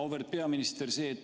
Auväärt peaminister!